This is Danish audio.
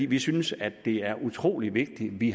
vi synes at det er utrolig vigtigt vi